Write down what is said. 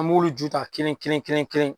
An b'olu ju ta kelen kelen.